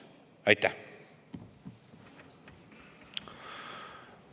Aitäh!